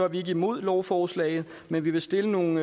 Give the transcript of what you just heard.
vi ikke imod lovforslaget men vi vil stille nogle